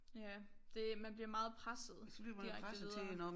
Ja det man bliver meget presset direkte videre